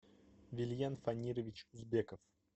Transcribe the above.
вильен фанирович узбеков